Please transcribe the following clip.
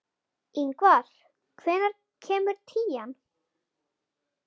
Ingvar, hvenær kemur tían?